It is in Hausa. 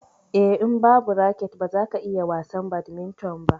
Eh, in babu raket baza ka iya wasan badminton ba.